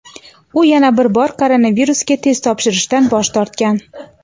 u yana bir bor koronavirusga test topshirishdan bosh tortgan.